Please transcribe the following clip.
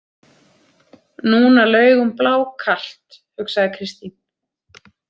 Núna laug hún blákalt, hugsaði Kristín.